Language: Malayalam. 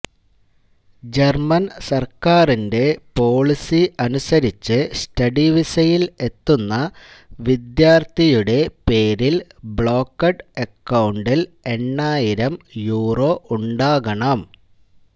ജര്മന് സര്ക്കാരിന്റെ പോളിസി അനുസരിച്ച് സ്റ്റഡി വീസയില് എത്തുന്ന വിദ്യാര്ത്ഥിയുടെ പേരില് ബ്ലോക്കഡ് അകൌണ്ടില് എണ്ണായിരം യൂറോ ഉണ്ടാകണം